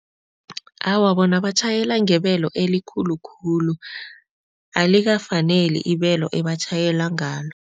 Awa, bona batjhayela ngebelo elikhulu khulu. Alikafaneli ibelo ebatjhayela ngalo.